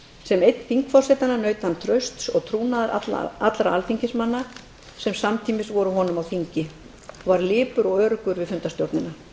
sem einn þingforsetanna naut hann trausts og trúnaðar allra alþingismanna sem samtímis voru honum á þingi og var lipur og öruggur við fundarstjórnina